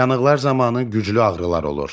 Yanıqlar zamanı güclü ağrılar olur.